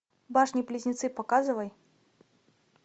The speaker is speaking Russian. башни близнецы показывай